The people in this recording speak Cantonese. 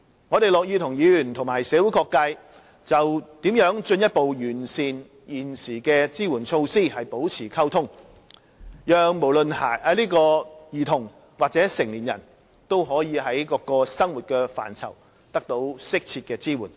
我們樂意與議員及社會各界就如何進一步完善現時的支援措施保持溝通，讓不論兒童或成年人均可在各個生活範疇得到適切的支援。